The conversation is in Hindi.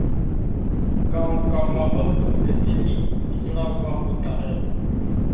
गाँव का माहौल तो वैसे भी पिछड़ा हुआ होता है